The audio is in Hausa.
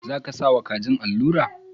Za ka sa wa kajin alura?.